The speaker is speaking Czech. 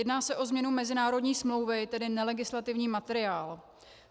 Jedná se o změnu mezinárodní smlouvy, tedy nelegislativní materiál.